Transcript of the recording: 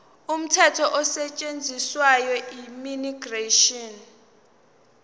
umthetho osetshenziswayo immigration